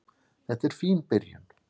Þetta er fín byrjun.